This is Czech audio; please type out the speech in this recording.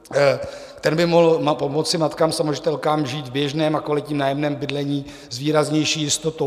Ten by mohl pomoci matkám samoživitelkám žít v běžném a kvalitním nájemním bydlení s výraznější jistotou.